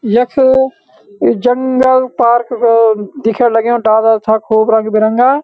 यख यु जंगल पार्क रोड दिखण लग्याँ डाला छा खूब रंग-बिरंगा।